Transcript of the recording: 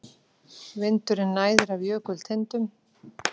Vindurinn næðir af jökultindum.